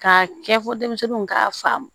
K'a kɛ fo denmisɛnninw k'a faamu